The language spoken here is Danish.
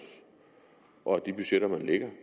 og at de budgetter man lægger